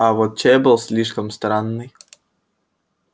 а вот чай был слишком странный